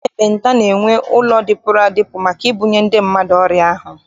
Ndị ekpenta na- enwe ụlọ dịpụrụ adịpụ maka ibunye ndị mmadụ ọrịa ahụ.